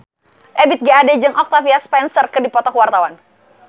Ebith G. Ade jeung Octavia Spencer keur dipoto ku wartawan